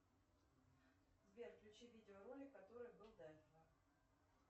сбер включи видеоролик который был до этого